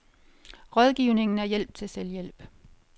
Rådgivningen er hjælp til selvhjælp